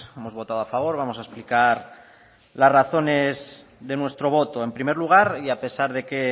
hemos votado a favor vamos a explicar las razones de nuestro voto en primer lugar y a pesar de que